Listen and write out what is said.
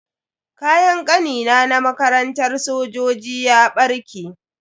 Kayan Kanina na makarantar sojoji ya barke.